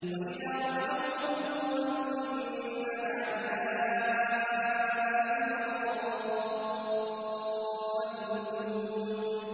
وَإِذَا رَأَوْهُمْ قَالُوا إِنَّ هَٰؤُلَاءِ لَضَالُّونَ